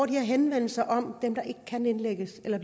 de her henvendelser om dem der ikke kan indlægges eller